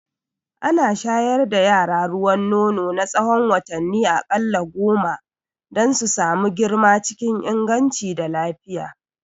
Ana shayar da yara ruwan nono na tsahon watanni a ƙalla goma don su samu girma cikin inganci da lafiya